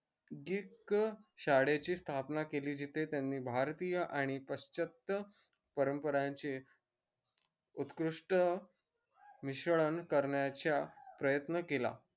जीत शाळेची स्थापना केली जेथे त्यांनी भारतीय पाश्चत्य परंपरांचे उत्कृष्ट मिश्रण करण्याच्या प्रयत्न केला